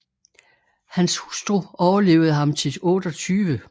Hans hustru overlevede ham til 28